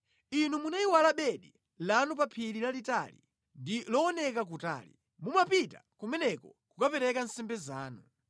Inu munayiwala bedi lanu pa phiri lalitali ndi looneka kutali. Mumapita kumeneko kukapereka nsembe zanu.